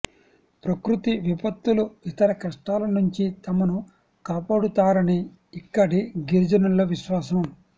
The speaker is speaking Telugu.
ప్రకృతి విపత్తులు ఇతర కష్టాల నుంచి తమను కాపాడుతారని ఇక్కడి గిరిజనుల విశ్వాసం